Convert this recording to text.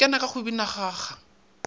ikana ka go bina kgaga